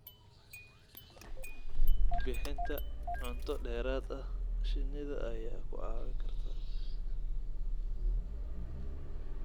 Bixinta cunto dheeraad ah shinnida ayaa ku caawin karta.